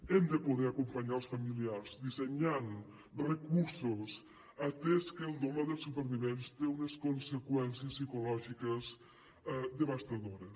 hem de poder acompanyar els familiars dissenyant recursos atès que el dolor dels supervivents té unes conseqüències psicològiques devastadores